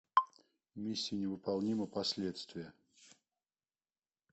миссия невыполнима последствия